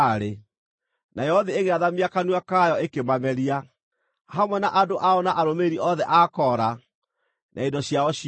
Nayo thĩ ĩgĩathamia kanua kayo ĩkĩmameria, hamwe na andũ ao na arũmĩrĩri othe a Kora, na indo ciao ciothe.